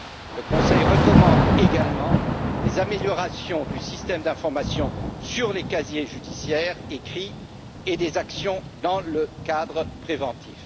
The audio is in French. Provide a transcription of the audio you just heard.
Le Conseil recommande également des améliorations du système d'information sur les casiers judiciaires et des actions dans le cadre préventif.